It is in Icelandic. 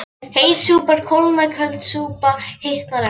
Heit súpa kólnar köld súpa hitnar ekki